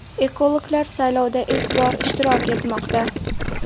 Ekologlar saylovda ilk bor ishtirok etmoqda.